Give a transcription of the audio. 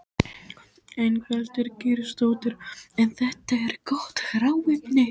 Ingveldur Geirsdóttir: En þetta er gott hráefni?